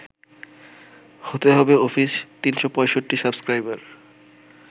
হতে হবে office ৩৬৫ subscriber